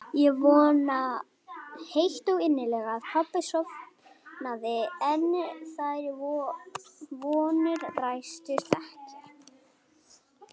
Ég vonaði heitt og innilega að pabbi sofnaði en þær vonir rættust ekki.